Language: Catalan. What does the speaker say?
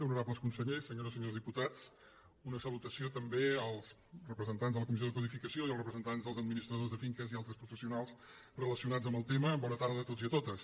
honorables consellers senyores i senyors diputats una salutació també als representants de la comissió de codificació i als representants dels administradors de finques i altres professionals relacionats amb el tema bona tarda a tots i totes